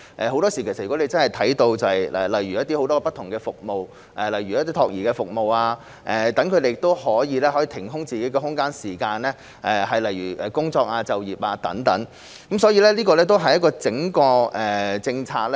很多時候，如果能提供很多不同的服務，例如託兒服務，她們便可以騰出自己的空間和時間來工作就業，所以我們需要檢視整體政策。